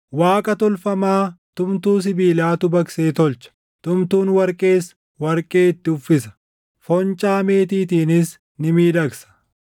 Waaqa tolfamaa tumtuu sibiilaatu baqsee tolcha; tumtuun warqees warqee itti uffisa; foncaa meetiitiinis ni miidhagsa.